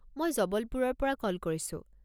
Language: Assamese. মই জবলপুৰৰ পৰা কল কৰিছোঁ।